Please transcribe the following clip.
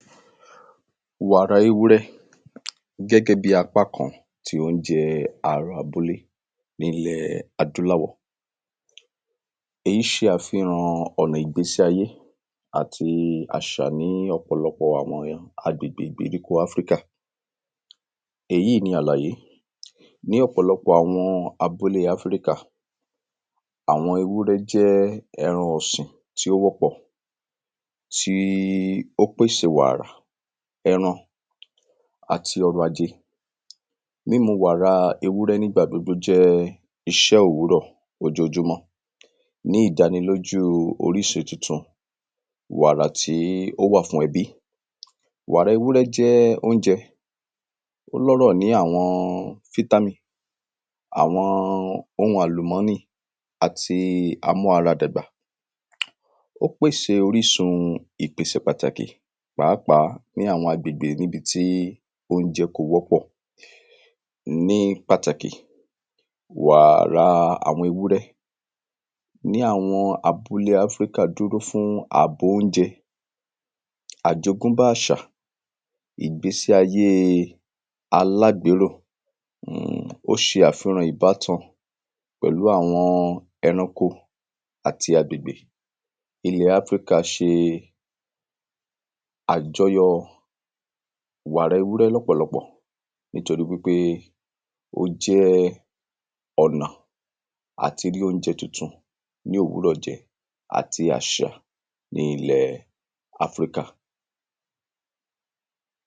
Wàrà ewúrẹ́ gẹ́gẹ́ bíi apá kan tí ounjẹ ará abúlé ní ilẹ̀ adúláwọ̀ Èyí ṣe àfihàn ọ̀nà ìgbésíayé àti àṣà ní ọ̀pọ̀lọpọ̀ àwọn àgbègbè ìgbèríko Africa Èyí ni àlàyé Ní ọ̀pọ̀lọpọ̀ àwọn abúlé Africa àwọn ewúrẹ́ jẹ́ ẹran ọ̀sìn tí ó wọ́pọ̀ tí ó pèsè wàrà ẹran àti ọrọ̀ajé Mímu wàrà ewúrẹ́ ní ìgbà gbogbo jẹ́ iṣẹ́ òwúrọ̀ ojoojúmọ́ ní ìdánilójú orísun wàrà tí ó wà fún ẹbí Wàrà ewúrẹ́ jẹ́ ounjẹ Ó ní ọrọ̀ ní àwọn vitamin àwọn oun àlùmọ́nì àti a mú ara dàgbà Ó pèsè orísun ìpèsè pàtàkì pàápàá ní àwọn agbègbè ní ibi tí ounjẹ kò wọ́pọ̀ Ní pàtàkì wàrà àwọn ewúrẹ́ ní àwọn abúle Africa dúró fún àbò ounjẹ àjogúnbá àṣà ìgbésí ayé alágbéró Ó ṣe àfiràn ìbátan pẹ̀lú àwọn ẹranko àti agbègbè Ilẹ̀ Africa ṣe àjọyọ̀ wàrà ewúrẹ́ lọ́pọ̀lọpọ̀ nítorí wípé ó jẹ́ ọ̀nà àti rí ounjẹ tuntun ní òwúrọ̀ jẹ àti àṣà ni nílẹ̀ Africa